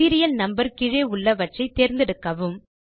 serial number கீழே உள்ளவற்றை தேர்ந்தெடுக்கவும்